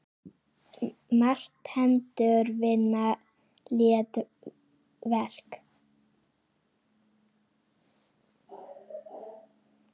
Margar hendur vinna létt verk!